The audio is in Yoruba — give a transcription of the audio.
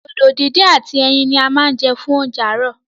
Dòdò díndín ati ẹyin ní a má jẹ́ fún oúnjẹ aarọ.